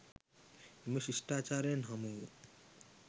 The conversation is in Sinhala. එම ශිෂ්ටාචාරයෙන් හමු වූ